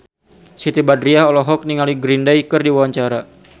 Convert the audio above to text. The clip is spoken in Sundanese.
Siti Badriah olohok ningali Green Day keur diwawancara